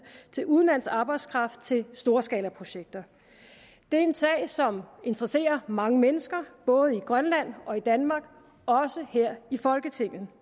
til udenlandsk arbejdskraft til storskalaprojekter det er en sag som interesserer mange mennesker både i grønland og danmark og også her i folketinget